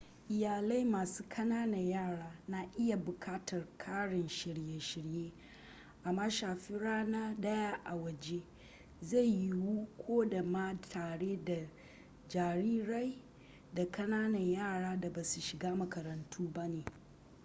iyalai masu kananan yara na iya bukatar ƙarin shirye-shirye amma shafe rana daya a waje zai yiwu ko da ma tare da jarirai da kananan yara da basu shiga makarantu ba ne